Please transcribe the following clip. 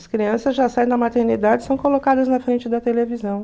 As crianças já saem da maternidade e são colocadas na frente da televisão.